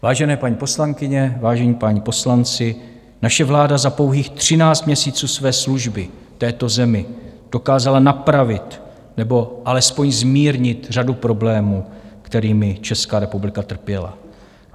Vážené paní poslankyně, vážení páni poslanci, naše vláda za pouhých 13 měsíců své služby této zemi dokázala napravit nebo alespoň zmírnit řadu problémů, kterými Česká republika trpěla.